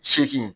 Seegin